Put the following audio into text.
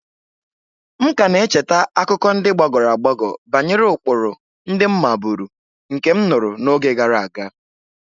M ka na-echeta akụkọ ndị gbagoro agbago banyere ụkpụrụ ndị m maburu nke m nụrụ n'oge gara aga.